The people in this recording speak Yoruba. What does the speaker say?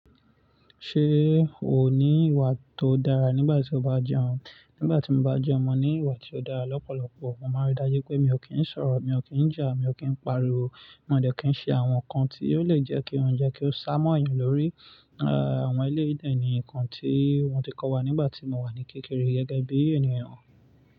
Ṣé o ní ìwà tó dára nígbà tí o bá jẹun? Nígbà tí mo bá jẹun, mo ní ìwà tí ó dára lọ́pọ̀lọpọ̀. Mo máa rí dájú pé mi ò kí ń sọ̀rọ̀, mi ò kí ń jà, mi ò kí ń pariwo, mo dẹ̀ kí ń ṣe àwọn nǹkan tí yóò le jẹ́ kí oúnjẹ kí ó sámọ̀ èèyàn lórí, àwọn eléyìí dẹ̀ nì nkan tí wọ́n ti kọ́ wa nígbà tí mo wà ní kékeré gẹ́gẹ́ bí ènìyàn.